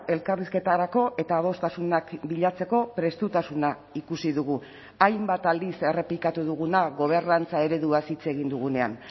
elkarrizketarako eta adostasunak bilatzeko prestutasuna ikusi dugu hainbat aldiz errepikatu duguna gobernantza ereduaz hitz egin dugunean